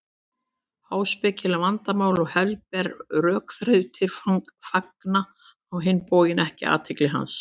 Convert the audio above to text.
Háspekileg vandamál og helberar rökþrautir fanga á hinn bóginn ekki athygli hans.